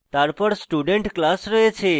তারপর student class রয়েছে